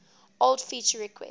old feature requests